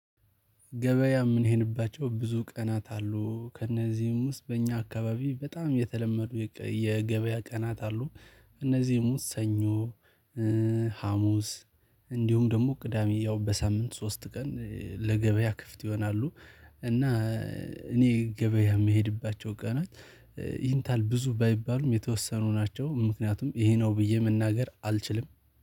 ገበያ ምን? ይሄንባቸው ብዙ ቀናት አሉ ከእነዚህም ውስጥ በእኛ አካባቢ በጣም የተለመዱ የገበያ ቀናት አሉ። እነዚህሙ ሰኞ ሀሙስ እንዲሁም ደግሞ ቅዳሜ ያው በሳምንት ሶስት ቀን ለገበያ ክፍት ይሆናሉ። እና እኔ ገበያ የምሄድባቸው ቀናት። ይህንታል ብዙ ባይባሉም የተወሰኑ ናቸው ምክንያቱም ይሄ ነው ብዬ መናገር አልችልም